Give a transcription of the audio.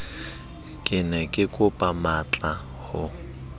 ke ne kekopa matlaa ho